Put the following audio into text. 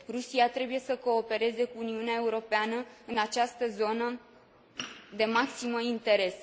Rusia trebuie să coopereze cu Uniunea Europeană în această zonă de maxim interes.